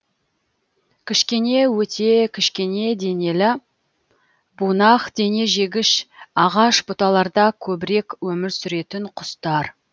кішкене өте кішкене денелі бунақденежегіш ағаш бұталарда көбірек өмір сүретін құстар